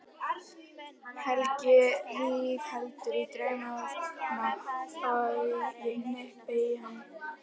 Helgi rígheldur í draumana þegar ég hnippi í hann.